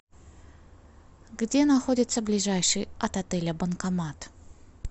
где находится ближайший от отеля банкомат